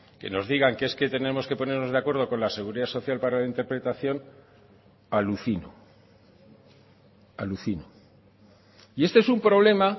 que nos digan que es que tenemos que ponernos de acuerdo con la seguridad social para la interpretación alucino alucino y este es un problema